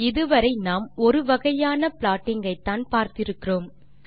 இது வரை நாம் ஒரு வகையான ப்ளாட்டிங் ஐத்தான் பார்த்து இருக்கிறோம்